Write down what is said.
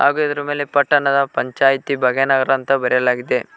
ಹಾಗು ಇದ್ರು ಮೇಲೆ ಪಟ್ಟಣ ಪಂಚಾಯಿತಿ ಭಾಗ್ಯನಗರ ಎಂದು ಬರೆಯಲಾಗಿದೆ.